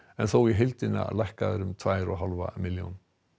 en þó í heildina lækkaðar um tvær og hálfa milljón